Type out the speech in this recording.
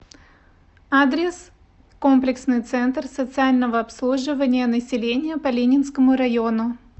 адрес комплексный центр социального обслуживания населения по ленинскому району